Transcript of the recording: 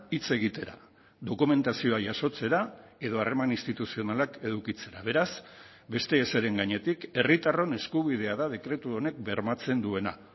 hitz egitera dokumentazioa jasotzera edo harreman instituzionalak edukitzera beraz beste ezeren gainetik herritarron eskubidea da dekretu honek bermatzen duena